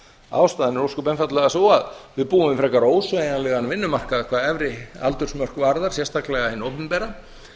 ástæðan er ósköp einfaldlega sú að við búum við frekar ósveigjanlegan vinnumarkað hvað efri aldursmörk varðar sérstaklega hjá hinu opinbera